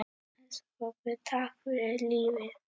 Elsku pabbi, takk fyrir lífið.